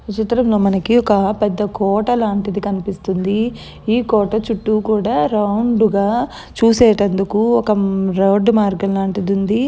ఈ చిత్రంలో మనకి ఒక పెద్ద కోట లాంటిది కన్పిస్తుంది. ఈ కోట చుట్టూ కూడా రౌండ్ గా చూసేటందుకు ఒక రోడ్డు మార్గం లాంటిదుంది.